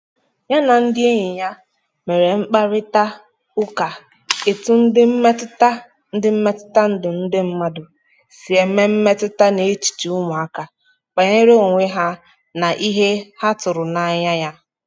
ya na ndị enyi ya mere mkparita ụka etu ndị mmetụta ndị mmetụta ndụ ndị mmadu si eme mmetụta n' echiche ụmụaka banyere onwe ha na ihe ha tụrụ anya ya.